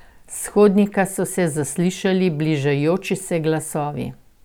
S hodnika so se zaslišali bližajoči se glasovi.